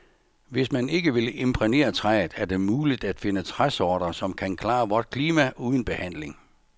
Hvis man ikke vil imprægnere træet, er det muligt at finde træsorter, som kan klare vort klima uden behandling.